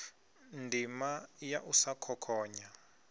ndima ya u sa khokhonya